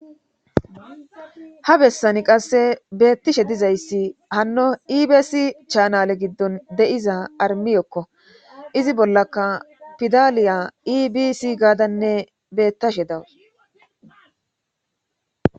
Ha bessani qasse beettishe dizayssi hanno ibesi chaanale giddon de7iza armiyokko izi bollaka pidaliya ibisi gaadanne bettashe dawus